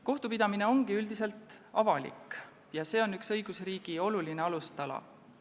Kohtupidamine ongi üldiselt avalik ja see on õigusriigi üks olulisi alustalasid.